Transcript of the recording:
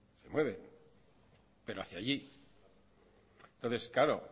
se mueven pero hacia allí entonces claro